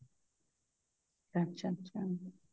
ਅੱਛਾ ਅੱਛਾ